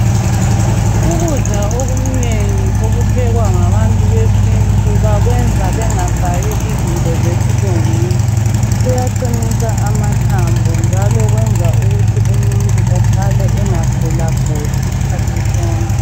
Ukudla okunengi okuphekwa ngabantu besintu bakwenza bengafaki okwesilungwini. Kuyaqinisa amathambo njalo kwenza umuntu engagulaguli isikhathi sonke.